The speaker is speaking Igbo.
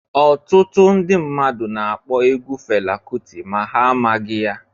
Ọtụtụ mmadụ na akpọ egwu Fela Kuti ma ha amaghị ya.